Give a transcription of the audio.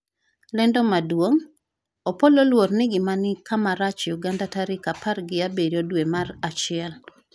lendo maduong' : Opollo oluor ni ngimane ni kama rach Uganda tarik apar gi abiriyo dwe mar achiel